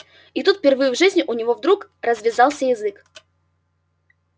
и тут впервые в жизни у него вдруг развязался язык